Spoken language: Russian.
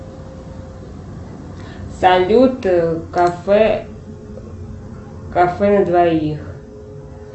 салют кафе кафе на двоих